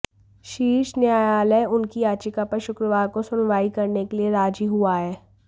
शीर्ष न्यायालय उनकी याचिका पर शुक्रवार को सुनवाई करने के लिए राजी हुआ है